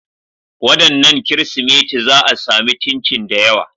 Wadannan Kirsimeti za a sami chinchin da yawa.